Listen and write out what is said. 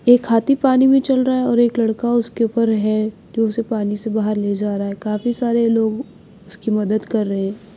एक हाथी पानी में चल रहा है और एक लड़का उसके ऊपर है जो उसे पानी से बाहर ले जा रहा है काफी सारे लोग उसकी मदद कर रहे हैं।